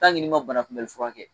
n'i ma banakunmɛli fura kɛ